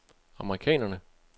amerikanerne